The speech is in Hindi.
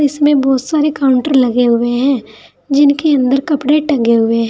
इसमें बहुत सारे काउंटर लगे हुए हैं जिनके अंदर कपड़े टंगे हुए--